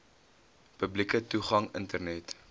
publieke toegang internet